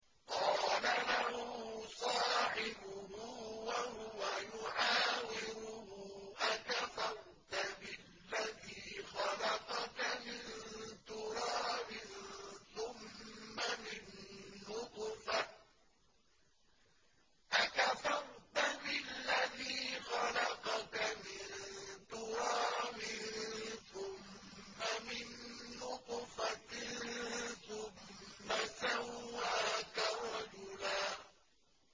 قَالَ لَهُ صَاحِبُهُ وَهُوَ يُحَاوِرُهُ أَكَفَرْتَ بِالَّذِي خَلَقَكَ مِن تُرَابٍ ثُمَّ مِن نُّطْفَةٍ ثُمَّ سَوَّاكَ رَجُلًا